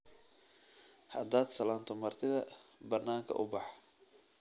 Haddaad salaanto martida, bannaanka u bax